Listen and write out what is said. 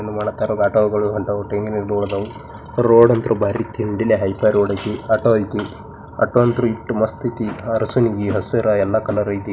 ಒಳಗ್ ಕಾರ್ಡ್ ಆಟೋ ಗಳು ಹೊಂಟವು ರೋಡ್ ಅಂತೂ ಬರಿ ಆಟೋ ಐತೆ ಆಟೋ ಅಂತೂ ಎಸ್ಟ್ ಮಸ್ತ್ ಐತೆ